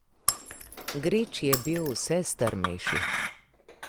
Grič je bil vse strmejši.